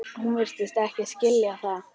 Hún virtist skilja það.